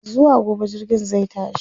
zuwa gobe jirgin zai tashi